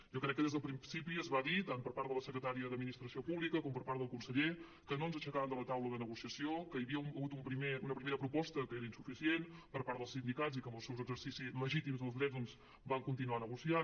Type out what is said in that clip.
jo crec que des del principi es va dir tant per part de la secretària d’administració pública com per part del conseller que no ens aixecàvem de la taula de negociació que hi havia hagut una primera proposta que era insuficient per part dels sindicats i que en el seu exercici legítim dels drets doncs van continuar negociant